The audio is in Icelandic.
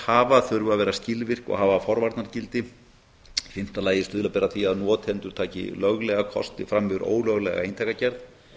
þurfa að vera skilvirk og hafa forvarnargildi í fimmta lagi stuðla ber að því að notendur taki löglega kosti fram yfir ólöglega eintakagerð